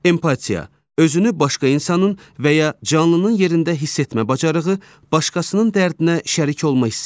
Empatiya, özünü başqa insanın və ya canlının yerində hiss etmə bacarığı, başqasının dərdinə şərik olma hissi.